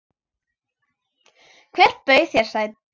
Hver bauð þér sæti?